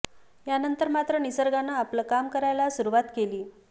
यानंतर मात्र निसर्गानं आपलं काम करायला सुरुवात केली